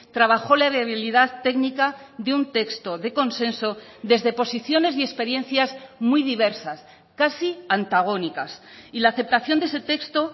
trabajó la debilidad técnica de un texto de consenso desde posiciones y experiencias muy diversas casi antagónicas y la aceptación de ese texto